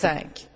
2005.